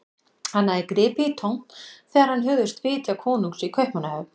Hann hafði gripið í tómt þegar hann hugðist vitja konungs í Kaupmannahöfn.